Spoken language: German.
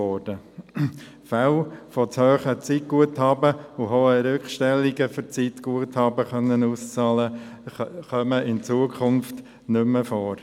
Fälle von zu hohen Zeitguthaben und hohen Rückstellungen, um Zeitguthaben auszahlen zu lassen, kommen in Zukunft nicht mehr vor.